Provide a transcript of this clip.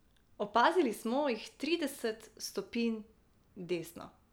Opazili smo jih trideset stopinj desno.